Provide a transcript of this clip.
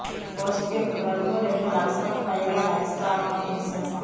ఈ పోస్ట్కు ఇప్పటివరకు రెండు లక్షలకుపైగా లైక్స్ రావడం విశేషం